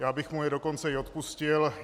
Já bych mu je dokonce i odpustil.